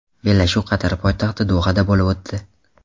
Bellashuv Qatar poytaxti Dohada bo‘lib o‘tdi.